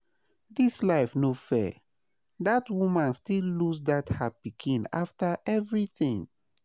Dis life no fair, dat woman still lose that her pikin after everything